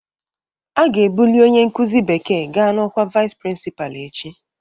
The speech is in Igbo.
A ga-ebuli onye nkuzi bekee gaa na ọkwa Vice Principal echi